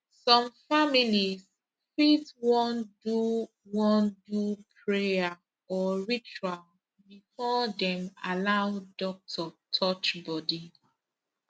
some families fit wan do wan do prayer or ritual before dem allow doctor touch body